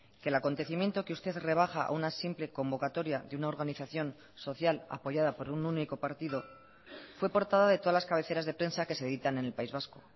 que el acontecimiento que usted rebaja a una simple convocatoria de una organización social apoyada por un único partido fue portada de todas las cabeceras de prensa que se editan en el país vasco